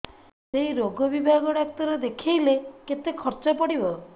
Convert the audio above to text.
ସେଇ ରୋଗ ବିଭାଗ ଡ଼ାକ୍ତର ଦେଖେଇଲେ କେତେ ଖର୍ଚ୍ଚ ପଡିବ